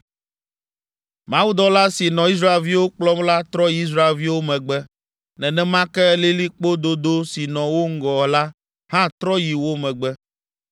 Mawudɔla si nɔ Israelviwo kplɔm la trɔ yi Israelviwo megbe, nenema ke lilikpo dodo si nɔ wo ŋgɔ la hã trɔ yi wo megbe,